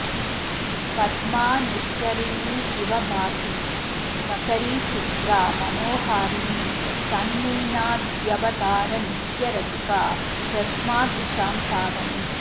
पद्मा निर्झरिणीव भाति मकरीचित्रा मनोहारिणी सन्मीनाद्यवतारनित्यरसिका ह्यस्मादृशां पावनी